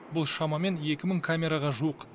бұл шамамен екі мың камераға жуық